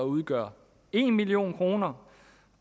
udgøre en million kr